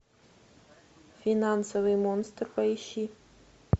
финансовый монстр поищи